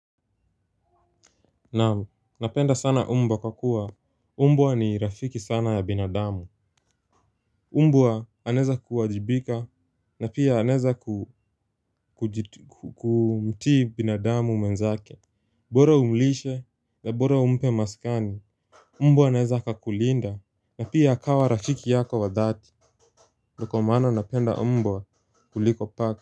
Naam, napenda sana mbwa kwa kuwa mbwa ni rafiki sana ya binadamu mbwa anaeza kuwajibika na pia anaeza kumtii binadamu mwenzake. Bora umlishe na bora umpe maskani mbwa anaeza akakulinda na pia akawa rafiki yako wa dhati ndio kwa maana napenda mbwa kuliko paka.